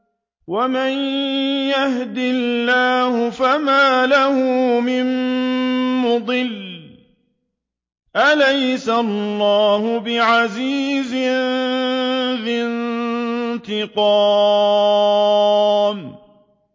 وَمَن يَهْدِ اللَّهُ فَمَا لَهُ مِن مُّضِلٍّ ۗ أَلَيْسَ اللَّهُ بِعَزِيزٍ ذِي انتِقَامٍ